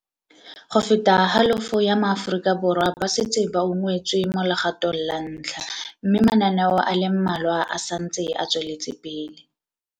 Go feta halofo ya maAfo rika Borwa ba setse ba ungwetswe mo legato ng la ntlha, mme mana neo a le mmalwa a sa ntse a tsweletsepele.